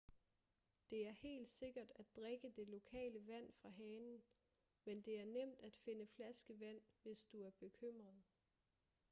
det er helt sikkert at drikke det lokale vand fra hanen men det er nemt at finde flaskevand hvis du er bekymret